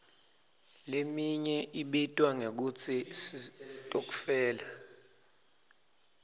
leminye ibitwa ngekutsi sitokfela